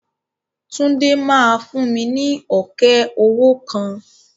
Túndé máa fún mi ní ọ̀kẹ́ owó kan.